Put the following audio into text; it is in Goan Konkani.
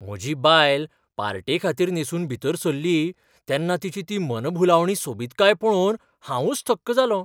म्हजी बायल पार्टेखातीर न्हेंसून भितर सरली तेन्ना तिची ती मनभुलावणी सोबीतकाय पळोवन हांवूंच थक्क जालों.